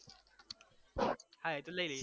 હા એ તો લઈ લઈએ